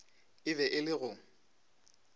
e be e le go